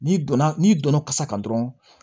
N'i donna n'i donna kasa kan dɔrɔn